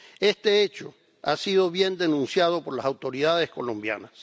Este hecho ha sido bien denunciado por las autoridades colombianas.